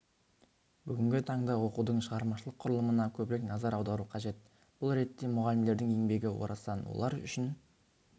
бүгінгі таңда оқудың шығармашылық құрылымына көбірек назар аудару қажет бұл ретте мұғалімдердің еңбегі орасан олар үшін